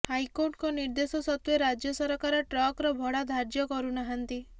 ହାଇକୋର୍ଟଙ୍କ ନିର୍ଦ୍ଦେଶ ସତ୍ୱେ ରାଜ୍ୟ ସରକାର ଟ୍ରକର ଭଡ଼ା ଧାର୍ଯ୍ୟ କରୁନାହାଁନ୍ତି